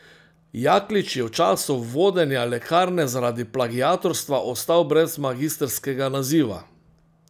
Jaklič je v času vodenja lekarne zaradi plagiatorstva ostal brez magistrskega naziva.